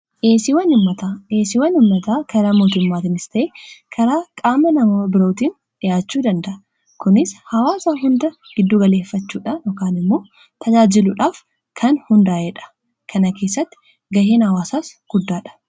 dheesiiwwan inmataa karaa mootimaatimistee karaa qaama namao birootiin dhihaachuu danda'a kunis hawaasaa hunda giddu galeeffachuudhadhokaan immoo tajaajiluudhaaf kan hundaa'eedha kana keessatti ga'een hawaasaas guddaadha